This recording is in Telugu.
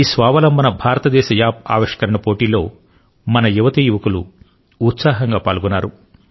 ఈ స్వావలంబన భారతదేశ యాప్ ఆవిష్కరణ పోటీ లో మన యువతీయువకులు ఉత్సాహంగా పాల్గొన్నారు